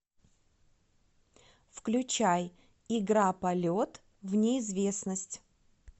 включай игра полет в неизвестность